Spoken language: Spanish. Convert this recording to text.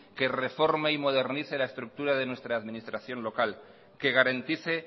que reforme y modernice la estructura de nuestras administración local que garantice